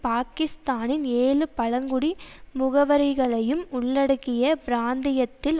பாகிஸ்தானின் ஏழு பழங்குடி முகவறைகளையும் உள்ளடக்கிய பிராந்தியத்தில்